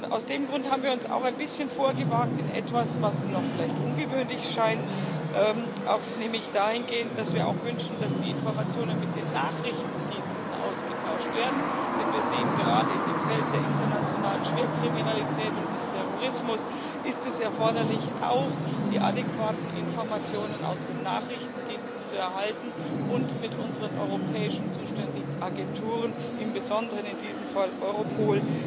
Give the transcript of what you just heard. Aus dem Grund haben wir uns auch ein bisschen vorgewagt in etwas, was vielleicht noch ungewöhnlich scheint, nämlich dahingehend, dass wir auch wünschen, dass die Informationen mit den Nachrichtendiensten ausgetauscht werden, denn wir sehen, gerade in dem Feld der internationalen Schwerkriminalität und des Terrorismus ist es erforderlich, auch die adäquaten Informationen aus den Nachrichtendiensten zu erhalten und mit unseren europäischen zuständigen Agenturen, im Besonderen in diesem Fall Europol,